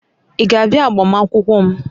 Ị ga-abịa agbamakwụkwọ m?